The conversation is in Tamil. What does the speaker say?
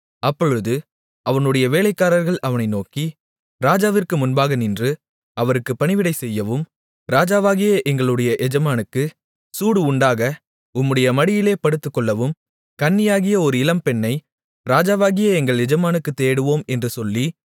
அப்பொழுது அவனுடைய வேலைக்காரர்கள் அவனை நோக்கி ராஜாவிற்கு முன்பாக நின்று அவருக்குப் பணிவிடை செய்யவும் ராஜாவாகிய எங்களுடைய எஜமானுக்கு சூடு உண்டாக உம்முடைய மடியிலே படுத்துக்கொள்ளவும் கன்னியாகிய ஒரு இளம்பெண்ணை ராஜாவாகிய எங்கள் எஜமானுக்குத் தேடுவோம் என்று சொல்லி